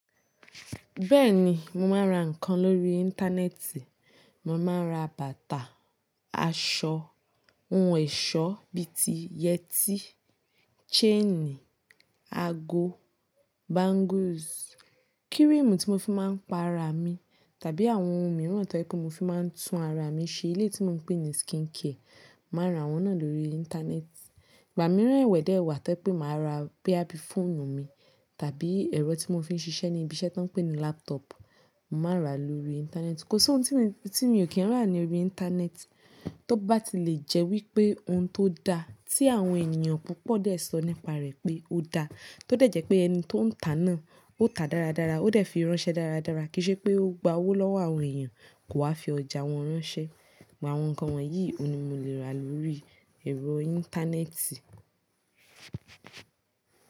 Bẹ́ẹ̀ni, mo máa ń ra nǹkan lórí Íńtánẹ́ẹ̀tì. Mo máa ń ra bàtà, aṣọ, ohun ẹ̀ṣọ́ bíi ti yẹtí, chaini, ago, bangles, kírímù tí mo fi máa ń pa ara mi tàbí àwọn ohun mìíràn tó yẹ pé mo fi máa ń tún ara mi ṣe ní ilé tí mo ń pè ní skincare. Máa ń ra àwọn náà lórí Íńtánẹ́ẹ̀tì. Ìgbà mìíràn ẹwẹ̀dè ẹwà tó yẹ pé màá rà bíi fóònù mi tàbí ẹ̀rọ tí mo fi ń ṣiṣẹ́ ní ibiṣẹ́ tó ń pè ní laptop, màá rà á lórí Íńtánẹ́ẹ̀tì. Kò sí ohun tí mo kì í rà ní orí Íńtánẹ́ẹ̀tì. Tó bá ti lè jẹ́ wípé ohun tó da tí àwọn ènìyàn púpọ̀ dẹ̀ sọ nípa rẹ̀ pé ó da, tó dẹ̀ jẹ́ pé ẹni tó ń tà á náà ó tà dáradára, ó dẹ̀ fi ránṣẹ́ dáradára kí í ṣe pé ó gba owó lọ́wọ́ àwọn èèyàn kò wá fi ọjà wọn ránṣẹ́. Gba àwọn nǹkan wọ̀nyí, òun ni mo lè rà á lórí ẹ̀rọ Íńtánẹ́ẹ̀tì.